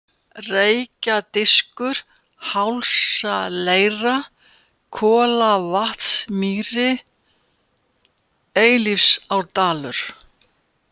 Reykjadiskur, Hálsaleira, Kolavatnsmýri, Eilífsárdalur